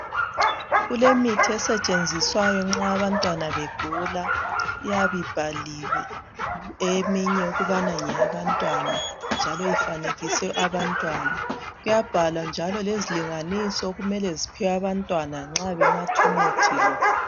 Kulemithi esetshenziswayo nxa abantwana begula iyabe ibhaliwe eminye ukubana ngeyabantwana njalo ifanekiswe abantwana kuyabhalwa njalo lezilinganiso okumele ziphiwe abantwana nxa benatha umuthi lo.